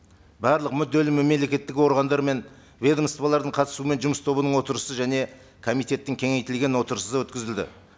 барлық мүдделі мемлекеттік органдар мен ведомстволардың қатысуымен жұмыс тобының отырысы және комитеттің кеңейтілген отырысы өткізілді